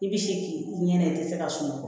I bi se k'i ɲinɛ i te se ka sunɔgɔ